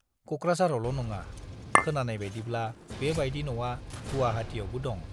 क'क्राझारावल' नङा, खोनानाय बाइदिब्ला बे बाइदि न'आ गुवाहाटियावबो दं।